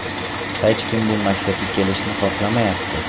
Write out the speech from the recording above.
Hech kim bu maktabga kelishni xohlamayapti.